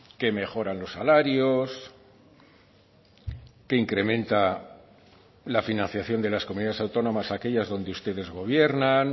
que mejoran los salarios que incrementa la financiación de las comunidades autónomas aquellas donde ustedes gobiernan